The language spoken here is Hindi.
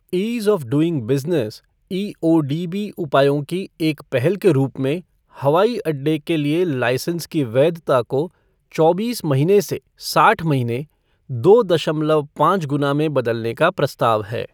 Ease of doing business EODB उपायों की एक पहल के रूप में हवाईअड्डे के लिए लाइसेंस की वैधता को चौबीस महीने से साठ महीने दो दशमलव पाँच गुना में बदलने का प्रस्ताव है।